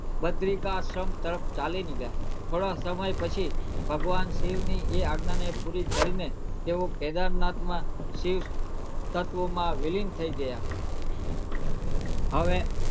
બદ્રિકાશી તરફ જવા ચાલી નીકળ્યા થોડા સમય પછી ભગવાન શિવ ની આઈ આજ્ઞા ને પુરી કરી ને તેઓ કેદારનાથ માં શિવતત્વ માં વિલીન થઇ ગયા હવે